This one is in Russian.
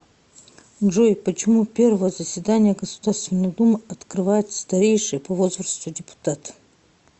джой почему первое заседание государственной думы открывает старейший по возрасту депутат